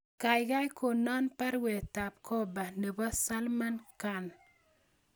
Gaigai konan baruetab gorpa nebo salman khan